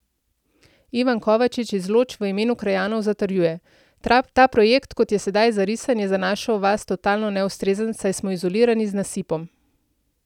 Ivan Kovačič iz Loč v imenu krajanov zatrjuje: 'Ta projekt, kot je sedaj zarisan je za našo vas totalno neustrezen, saj smo izolirani z nasipom.